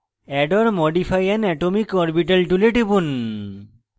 add or modify an atomic orbital tool টিপুন